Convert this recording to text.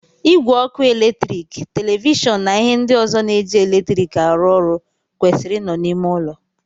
Ìgwè oku eletrik, televishọọnụ na ihe ndị ọzọ na-eji eletrik arụ ọrụ kwesịrị ị nọ n'ime ụlọ.